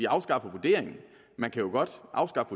afskaffet vurderingen man kan jo godt afskaffe